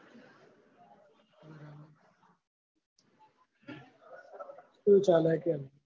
કેવું ચાલે કેન?